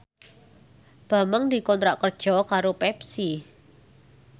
Bambang dikontrak kerja karo Pepsi